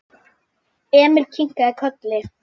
Emil kinkaði kolli.